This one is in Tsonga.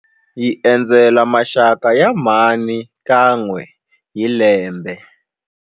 Hi endzela maxaka ya mhani kan'we hi lembe.